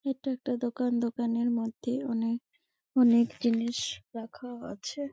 এইটা একটা দোকান দোকানের মধ্যে অনকে অনকে জিনিস রাখা আছে ।